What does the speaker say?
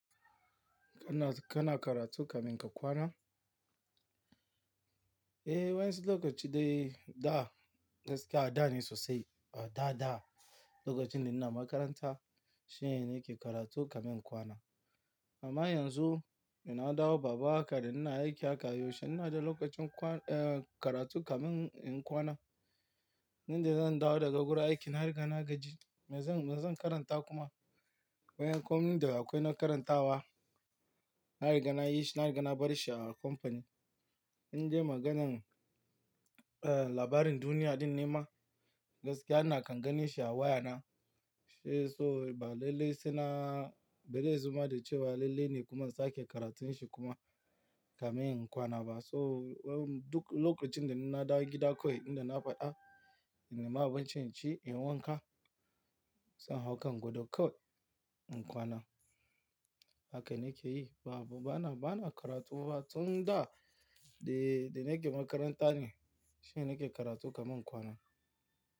Kana, kana karatu kamin ka kwana? Eh, wain su lokaci dai da gaskiya a da ne sosai, a da, da lokacin da ina makaranta shine nake karatu kamin in kwana. Amma yanzu ina dawo baba haka da ina aiki haka, yaushe ina da lokacin kwan-- eh, karatu kamain kwana. Nan da zan dawo daga wurin aiki, na riga na gaji. Me zan, me zan karanta kuma? Bayan kwamnin da akwai na karantawa, na riga na yi shi, na riga na bar shi a kamfani. In je maganan, eh, labarin duniya ɗin nema gaskiya na kan gane shi a wayana. Eh, so ba lalle saina, ba dai zuma da cewa lalle ne kuma in sake karantun shi kuma kamar in kwana ba. So duk lokacin da na da gida kawai, inda na faɗa, ina ma abincin ci, in wanka, sai haka in gwado kawai in kwana. Haka nake yi. Babu, bana, bana karatu fa tun da, da nake makaranta ne shine nake karatu kamar in kwana.